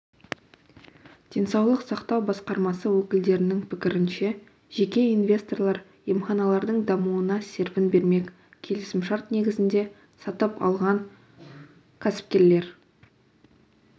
денсаулық сақтау басқармасы өкілдерінің пікірінше жеке инвесторлар емханалардың дамуына серпін бермек келісімшарт негізінде сатып алған кәсіпкерлер